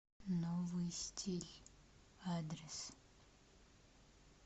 новый стиль адрес